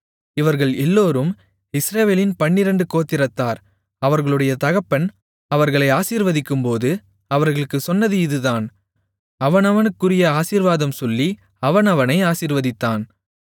இவர்கள் எல்லோரும் இஸ்ரவேலின் பன்னிரண்டு கோத்திரத்தார் அவர்களுடைய தகப்பன் அவர்களை ஆசீர்வதிக்கும்போது அவர்களுக்குச் சொன்னது இதுதான் அவனவனுக்குரிய ஆசீர்வாதம் சொல்லி அவனவனை ஆசீர்வதித்தான்